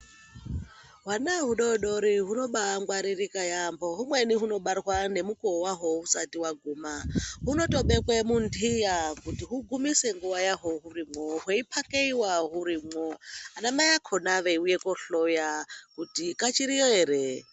Hwana hudodori hunomba ngwaririka yambo humweni hunobarwa nemukuwo wahwo husati hwaguma hunotobekwa mundiya kuti hugumise nguwa yahwo hurimo hweiphakeyewa hurimwo ana Mai akona veiuya kohloya kuti kachiriyo ere.